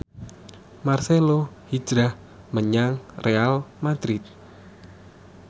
marcelo hijrah menyang Real madrid